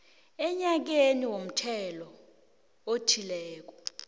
enyakeni womthelo othileko